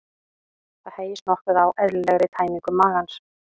Það hægist nokkuð á eðlilegri tæmingu magans.